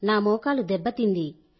నా మోకాలు దెబ్బతింది